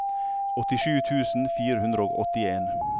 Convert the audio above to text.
åttisju tusen fire hundre og åttien